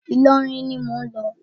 Ìlọrin ni mò ń lọ.